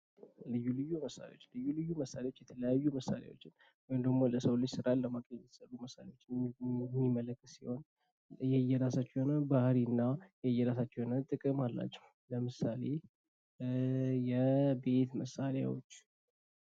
ልዩ ልዩ መሳሪያዎች፤ ልዩ ልዩ መሳሪያዎች የተለያዩ መሳሪያዎችን ወይም ደሞ ለሰው ልጅ ስራን ለማቅለል የተሰሩ መሳሪያዎች የሚያመለክት ሲሆን የየራሳቸው የሆነ ባህሪ እና የየራሳቸው የሆነ ጥቅም አላቸው። ለምሳሌ የቤት መሳሪያዎች